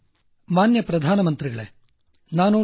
ಧ್ವನಿ ಮಾನ್ಯ ಪ್ರಧಾನ ಮಂತ್ರಿಗಳೇ ನಾನು ಡಾ